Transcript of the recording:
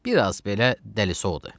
Biraz belə dəlisovdur.